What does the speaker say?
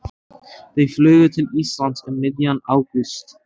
Þau flugu til Íslands um miðjan ágúst.